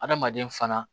Adamaden fana